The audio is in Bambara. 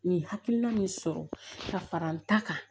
Nin hakilina min sɔrɔ ka fara n ta kan